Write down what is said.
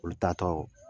Olu ta tɔ